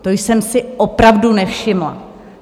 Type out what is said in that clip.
To jsem si opravdu nevšimla.